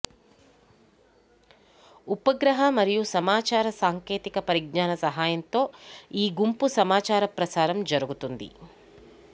ఉపగ్రహ మరియు సమాచార సాంకేతిక పరిజ్ఞాన సహాయంతో ఈ గుంపు సమాచార ప్రసారం జరుగుతుంది